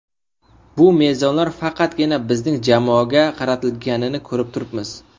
Bu mezonlar faqatgina bizning jamoaga qaratilganini ko‘rib turibmiz.